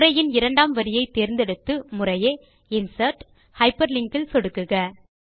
உரையின் இரண்டாம் வரியை தேர்ந்தெடுத்து முறையே இன்சர்ட் ஹைப்பர்லிங்க் இல் சொடுக்குக